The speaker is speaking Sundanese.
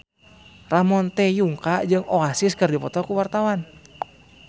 Ramon T. Yungka jeung Oasis keur dipoto ku wartawan